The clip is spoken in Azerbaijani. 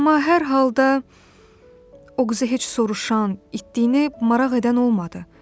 Amma hər halda o qıza heç soruşan, itdiyi maraq edən olmadı.